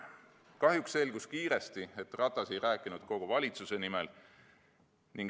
Kahjuks selgus kiiresti, et Ratas ei rääkinud kogu valitsuse nimel.